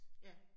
Ja